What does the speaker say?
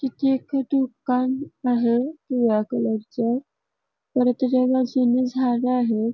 तिथे एक दुकान आहे पिवळ्या कलर च परत तेच बाजूनी झाड आहे.